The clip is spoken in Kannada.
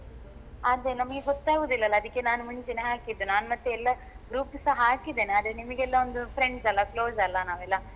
ಅದೇ ನಮಿಗೆ ಗೊತ್ತಾಗುದಿಲ್ಲ ಅಲ್ಲ ಅದಿಕ್ಕೆ ನಾನು ಮುಂಚೆನೇ ಹಾಕಿದ್ದು ನಾನ್ ಮತ್ತೆ ಎಲ್ಲ group ಸಾ ಹಾಕಿದ್ದೇನೆ ಆದ್ರೆ ನಿಮ್ಗೆಲ್ಲ ಒಂದು friends ಅಲ್ಲ close ಅಲ್ಲ ನಾವೆಲ್ಲಾ.